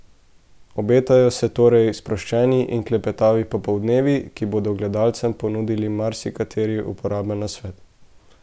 Obetajo se torej sproščeni in klepetavi popoldnevi, ki bodo gledalcem ponudili marsikateri uporaben nasvet.